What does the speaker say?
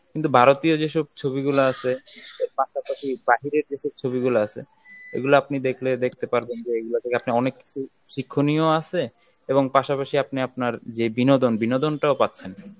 কিন্তু ভারতীয় যেসব ছবিগুলা আছে এর পাশাপাশি বাইরের দেশের ছবিগুলো আছে এগুলো আপনি দেখলে দেখতে পারবেন যে এগুলো থেকে আপনি অনেক কিছু শিক্ষনীয় আছে এবং পাশাপাশি আপনি আপনার যে বিনোদন, বিনোদনটাও পাচ্ছেন.